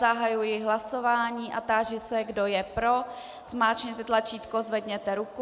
Zahajuji hlasování a táži se, kdo je pro, zmáčkněte tlačítko, zvedněte ruku.